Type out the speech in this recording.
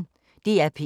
DR P1